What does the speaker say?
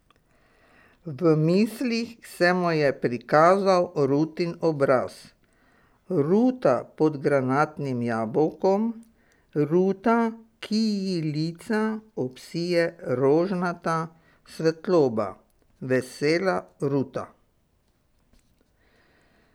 V mislih se mu je prikazal Rutin obraz, Ruta pod granatnim jabolkom, Ruta, ki ji lica obsije rožnata svetloba, vesela Ruta.